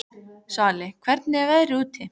Svali, hvernig er veðrið úti?